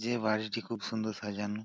যে বাড়িটি খুব সুন্দর সাজানো।